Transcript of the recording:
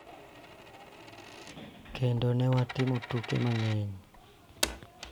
Kendo ne watimo tuke mang�eny.